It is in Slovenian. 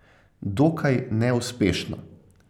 Dokaj neuspešno.